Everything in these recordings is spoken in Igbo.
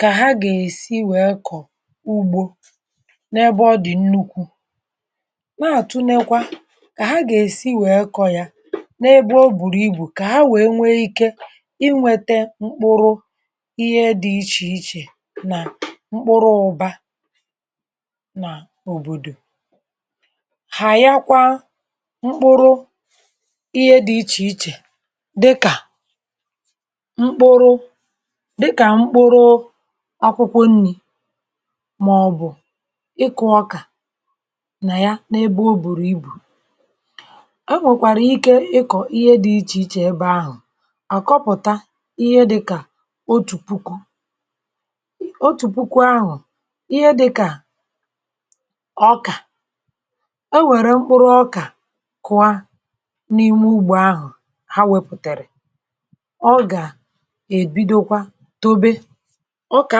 kà ha gà-èsi wèe kọ̀ ugbọ̀ n’ebe ọ dị̀ nnukwu, na-átụ̀nèkwa kà ha gà-èsi wèe kọ̀ ya n’ebe ọ bụ̀rụ̀ ibu, kà ha wèe nwee iké inweté mkpụrụ ihe dị iche iche nà mkpụrụ ụba nà òbòdò ha; yakwa mkpụrụ ihe dị iche iche, dịkà mkpụrụ akwụkwọ nrī, màọbụ̀ ịkụ̄ ọkà na ya. N’ebe ọ bụ̀rụ̀ ibu, e nwèkwàrà ike ịkọ̀ ihe dị iche iche ebe ahụ̀; àkọpụ̀tà ihe dịkà otu puku otu puku ahụ̀, ihe dịkà ọkà, e nwèrè mkpụrụ ọkà kụọ n’ime ugbọ̀ ahụ̀. Ha wepụ̀tèrè òkè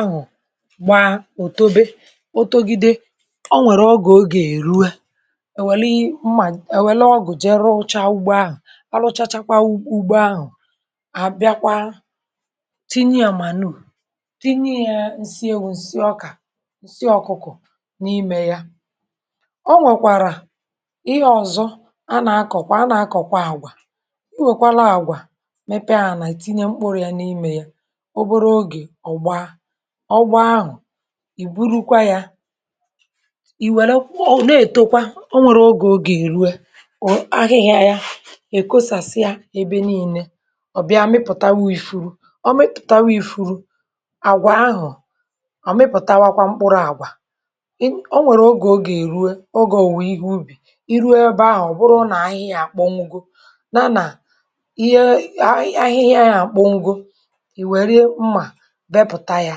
ahụ̀, bà, ò, tòbe, ò, togide, ọ nwèrè ọgụ̀; ogè èrue, èwèli mmà, èwèli ọgụ̀, jere ụchà ugbo ahụ̀, a lụchachakwa ugbo ahụ̀, à bịakwa tinye ya, mànù, tinye ya um nsị ewū, nsị ọkụkụ̄ n’ime ya. Ọ nwèkwàrà ihe ọ̀zọ; a nà-akọ̀kwa, a nà-akọ̀kwa àgwà. Ọ nwèkwàla àgwà ọ̀gbọ ahụ̀, ì burukwa ya, ì wèrèkwa, na-ètokwa ọ nwèrè; ogè ogè èrue, ò, ahịhịa ya, è kosasịa ebe niile, ọ̀ bịa, mịpụ̀tawa ifuru, ọ mịpụ̀tawa ifuru àgwà ahụ̀, ọ mịpụ̀tawa kwa mkpụrụ àgwà. Ọ nwèrè ogè, ogè èrue, ogè òwùwè ihe ubi. Ị rụọ ebe ahụ̀, ọ̀ bụrụ nà ahịhịa àkpọnugo, na nà ihe ahịhịa ya àkpọnugo, bepụ̀ta ya;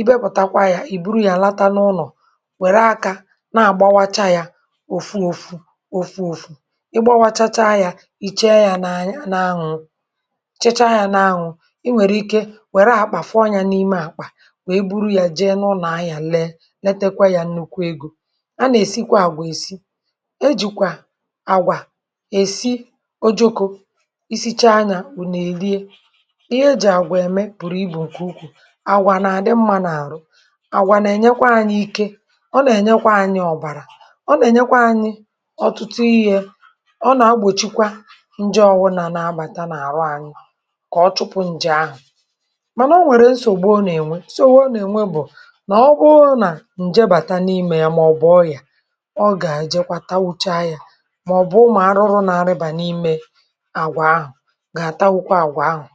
ị bepụ̀takwa ya, ì buru ya, latanụlọ̀, wèrè akà na-àgbawacha ya. Òfù, òfù, òfù; ị gbawachacha ya, ì chee ya n’anwụ̄, chiche ya n’anwụ̄. Ị nwèrè ike wèrè àkpà fụọ ya n’ime àkpà, wèe buru ya, jee n’ụnọ̀, à ya lee, nètèkwa ya um, nnukwu ego. A nà-èsikwa àgwà, èsi ejìkwà àgwà, èsi ojokò isi, chaa ya. Ụ́tụtụ, nà èrie àwà nà àdị̄ mma n’àrụ̄, àwà nà ènyekwa anyị ike; ọ nà ènyekwa anyị ọ̀bara; ọ nà ènyekwa anyị ọ̀tụtụ iyī. È, ọ nà-agbòchikwa nje ọ̀wụ̀nà nà abàta n’àrụ̀ anyị, kà ọ chụpụ̀ ǹjị̀ ahụ̀. Mànà, ọ nwèrè nsògbu ọ nà-ènwe; sowè nà-ènwe um, bụ̀ nà ọ bụrụ nà nje bàta n’ime ya, mà ọ̀ bụ ọyà, ọ gà-ajịjịkwa tayà; mà ọ̀ bụ, mà arụrụ nà rịba n’ime àgwà ahụ̀